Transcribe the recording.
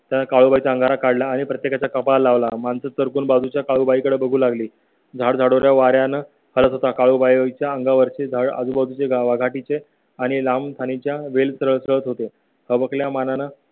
त्या काळूबाईचा अंगारा काढला आणि प्रत्येकाच्या कपाळी लावला माणसं तर कोण बाजूच्या काळूबाई कडे बघू लागली. झाड झाडोरा वाळून करत होता. काळूबाई च्या अंगावरचे जळगाव, आघाडी चे आणि लांब थानी च्या वेळेत होते